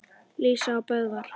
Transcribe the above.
Lísa og Böðvar.